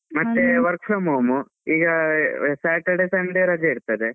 ಮತ್ತೆ work from home ಈಗ Saturday, Sunday ರಜೆ ಇರ್ತದೆ.